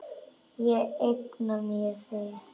Ég eigna mér þig.